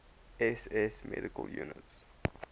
ss medical units